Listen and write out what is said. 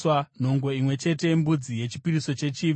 nhongo imwe chete yembudzi yechipiriso chechivi;